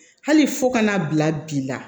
Hali fo ka n'a bila bi la